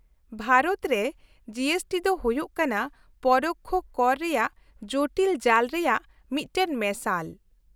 -ᱵᱷᱟᱨᱚᱛ ᱨᱮ G S T ᱫᱚ ᱦᱩᱭᱩᱜ ᱠᱟᱱᱟ ᱯᱚᱨᱳᱠᱠᱷᱚ ᱠᱚᱨ ᱨᱮᱭᱟᱜ ᱡᱳᱴᱤᱞ ᱡᱟᱞ ᱨᱮᱭᱟᱜ ᱢᱤᱫᱴᱟᱝ ᱢᱮᱥᱟᱞ ᱾